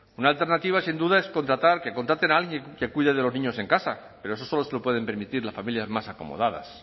una alternativa sin duda es contratar que contraten a alguien que cuide de los niños en casa pero eso solo se lo pueden permitir las familias más acomodadas